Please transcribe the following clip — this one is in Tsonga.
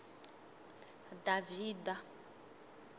davhida